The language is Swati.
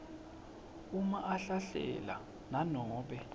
uma ahlahlela nanobe